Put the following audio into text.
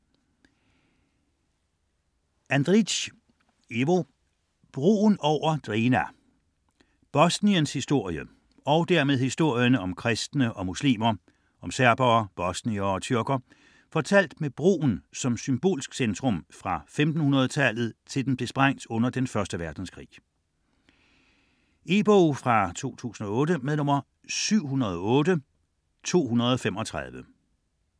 Andri´c, Ivo: Broen over Drina Bosniens historie, og dermed historien om kristne og muslimer, om serbere, bosniere og tyrker, fortalt med broen som symbolsk centrum fra 1500-tallet til den blev sprængt under 1. verdenskrig. E-bog 708235 2008.